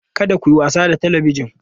Kada ku yi wasa da Talabijin!